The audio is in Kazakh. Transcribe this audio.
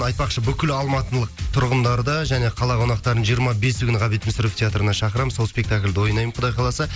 айтпақшы бүкіл алматылық тұрғындарды және қала қонақтарын жиырма бесі күні ғабит мүсірепов театрына шақырамын сол спектакльде ойнаймын құдай қаласа